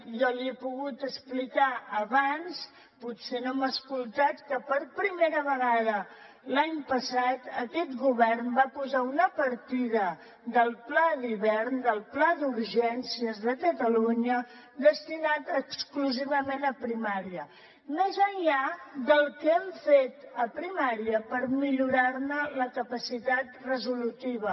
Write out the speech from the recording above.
jo li he pogut explicar abans potser no m’ha escoltat que per primera vegada l’any passat aquest govern va posar una partida del pla d’hivern del pla d’urgències de catalunya destinada exclusivament a primària més enllà del que hem fet a primària per millorar ne la capacitat resolutiva